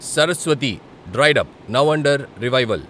Saraswati dried up, now under revival